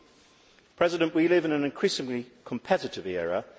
Mr President, we live in an increasingly competitive era.